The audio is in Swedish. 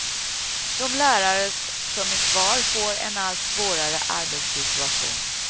De lärare som är kvar får en allt svårare arbetssituation.